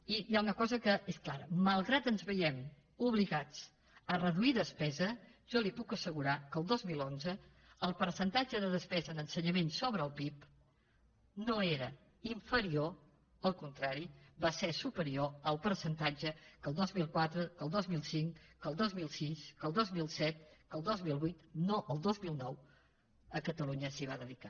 i hi ha una cosa que és clara malgrat que ens veiem obligats a reduir despesa jo li puc assegurar que el dos mil onze el percentatge de despesa en ensenyament sobre el pib no era inferior al contrari va ser superior al percentatge que el dos mil quatre que el dos mil cinc que el dos mil sis que el dos mil set que el dos mil vuit no el dos mil nou a catalunya s’hi va dedicar